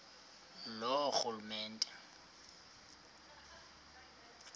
loorhulumente